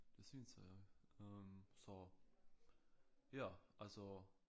Det synes jeg så ja altså